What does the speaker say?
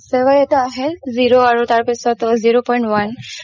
চৱাই এটা আহে zero আৰু zero point one